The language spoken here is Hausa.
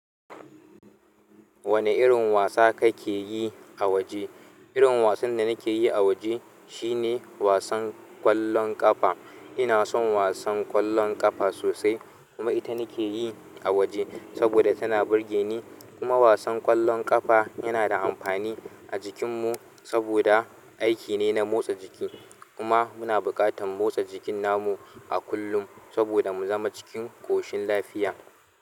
Wani irin wasa kake yi a waje? Irin wasan da nake yi a waje shine wasan ƙwallon ƙafa. Ina son wasan ƙwallon ƙafa sosai, kuma ita nake yi a waje saboda tana burge ni. Kuma wasan ƙwallon ƙafa yana da amfani a jikinmu saboda aiki ne na motsa jiki. Kuma muna buƙatar motsa jikin namu a kullum saboda mu zama cikin ƙoshin lafiya.